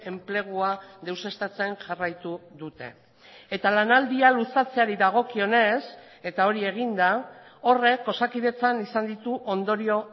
enplegua deuseztatzen jarraitu dute eta lanaldia luzatzeari dagokionez eta hori egin da horrek osakidetzan izan ditu ondorio